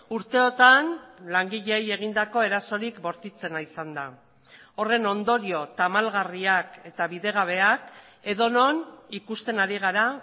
urteotan langileei egindako erasorik bortitzena izan da horren ondorio tamalgarriak eta bidegabeak edonon ikusten ari gara